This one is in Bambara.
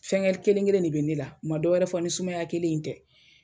Fɛngɛ kelen kelen de be ne la u ma dɔ wɛrɛ fɔ ni sumaya kelen in tɛ